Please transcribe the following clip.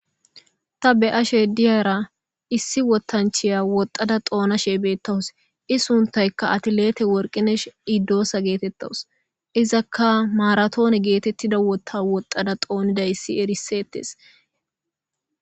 Ta be'ashe diyara issi wotanchiya woxxada xoona sheebettawus isuntayka atilete worqinesh idoosa getetawus izakka maaratoone geetettida wota woxxada xooniday issi erisetes